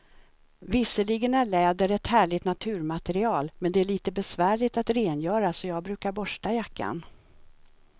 Visserligen är läder ett härligt naturmaterial, men det är lite besvärligt att rengöra, så jag brukar borsta jackan.